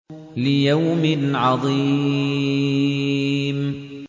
لِيَوْمٍ عَظِيمٍ